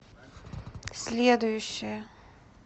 следующая